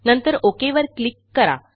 नंतरOK वर क्लिक करा